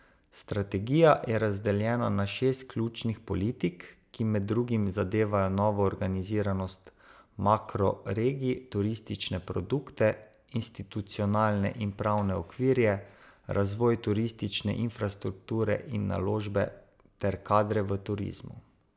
Strategija je razdeljena na šest ključnih politik, ki med drugim zadevajo novo organiziranost makroregij, turistične produkte, institucionalne in pravne okvirje, razvoj turistične infrastrukture in naložbe ter kadre v turizmu.